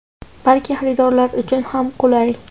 balki xaridorlar uchun ham qulay.